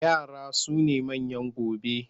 Yara su ne manyan gobe.